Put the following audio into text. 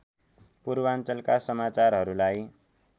पूर्वाञ्चलका समाचारहरूलाई